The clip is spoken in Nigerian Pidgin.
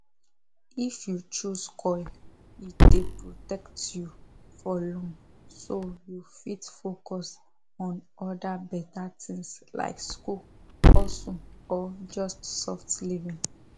if you choose coil e dey protect you for long so you fit focus on other better things like school hustle or just soft living